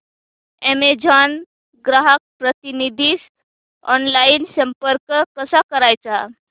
Amazon ग्राहक प्रतिनिधीस online संपर्क कसा करायचा